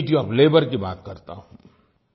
dignity of labour की बात करता हूँ